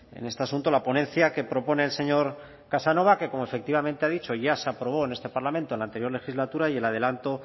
en este asunto la ponencia que propone el señor casanova que como efectivamente ha dicho ya se aprobó en este parlamento en la anterior legislatura y el adelanto